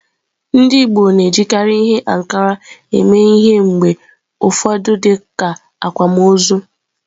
Ndị Igbo na-ejikarị ihe ankara eme ihe mgbe ụfọdụ dịka akwámoozu.